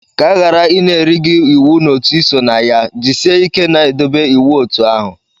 Ka aghara Ị na-eri gị iwu n'otu Ị so na ya, jisie ike na-edobe iwu otu ahụ.